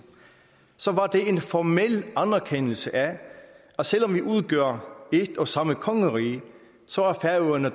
så var det en formel anerkendelse af at selv om vi udgør et og samme kongerige så er færøerne